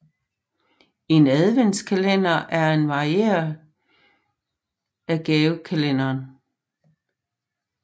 En adventskalender er en variant af gavekalenderen